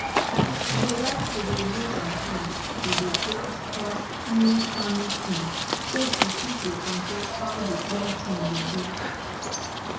she dey like to dey use her hand to dey plant pass any farming thing so she fit dey control how d planting dey go